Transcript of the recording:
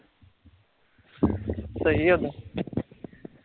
ਸਹੀ ਉੱਦਾ